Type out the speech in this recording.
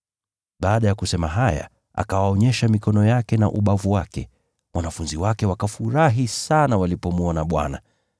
Baada ya kusema haya, akawaonyesha mikono yake na ubavu wake. Wanafunzi wake wakafurahi sana walipomwona Bwana.